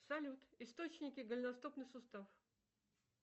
салют источники голеностопный сустав